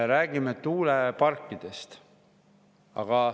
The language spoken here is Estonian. Räägime tuuleparkidest.